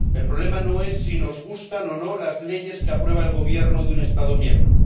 El problema no es si nos gustan o no las leyes que aprueba el Gobierno de un Estado miembro.